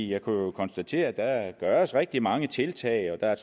jeg kunne konstatere at der gøres rigtig mange tiltag og